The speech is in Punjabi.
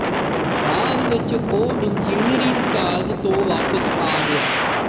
ਬਾਅਦ ਵਿਚ ਉਹ ਇੰਜੀਨੀਅਰਿੰਗ ਕਾਲਜ ਤੋਂ ਵਾਪਿਸ ਆ ਗਏ